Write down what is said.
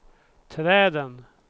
träden